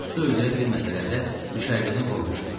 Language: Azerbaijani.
Qustu öldürə bilməsələr də düşərgədən qovmuşdular.